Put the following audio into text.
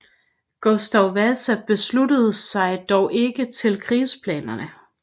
Gustav Vasa sluttede sig dog ikke til krigsplanerne